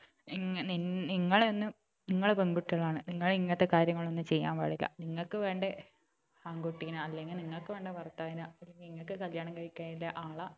നിങ്ങ നിങ്ങ നിങ്ങളെന്ന് നിങ്ങൾ പെൺകുട്ടികൾ ആണ് നിങ്ങൾ ഇങ്ങനത്തെ കാര്യങ്ങളൊന്നും ചെയ്യാൻ പാടില്ല നിങ്ങക്ക് വേണ്ട ആൺകുട്ടിനാ അല്ലങ്കില് നിങ്ങക്ക് വേണ്ട ഭർത്താവിനെ നിങ്ങക്ക് കല്യാണം കഴിക്കാനില്ല ആളെ